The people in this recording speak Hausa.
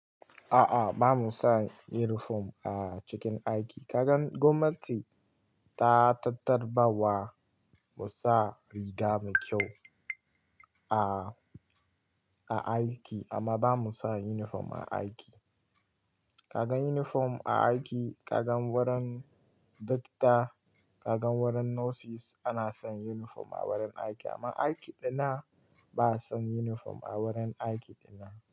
A'a, ba mu sa uniform a cikin aiki. Kagan gwamnati ta tabbatar ba wa mu sa riga mai kyau a, a aiki amma ba mu sa uniform a aiki. Kaga uniform a aiki, kaga wurin dokta, kaga wurin nurses ana san uniform a wurin aiki amma aiki dinnan ba a san uniform a wurin aiki dinnan.